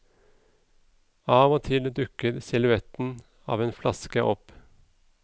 Av og til dukker silhuetten av en flaske opp.